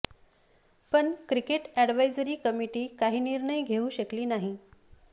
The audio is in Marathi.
पण क्रिकेट अॅडव्हायजरी कमिटी काही निर्णय घेऊ शकली नाही